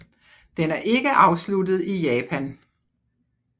Den er ikke afsluttet i Japan